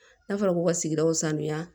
N'a fɔra ko ka sigidaw sanuya